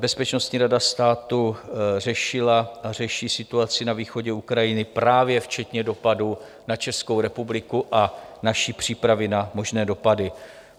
Bezpečnostní rada státu řešila a řeší situaci na východě Ukrajiny právě včetně dopadu na Českou republiku a další přípravy na možné dopady.